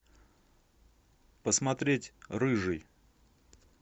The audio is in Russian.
посмотреть рыжий